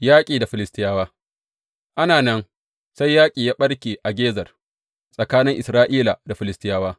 Yaƙi da Filistiyawa Ana nan, sai yaƙi ya ɓarke a Gezer tsakanin Isra’ila da Filistiyawa.